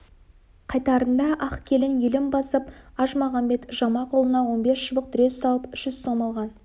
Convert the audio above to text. қайтарында ақкелін елін басып ажмағамбет жамақұлына он бес шыбық дүре салып үш жүз сом алған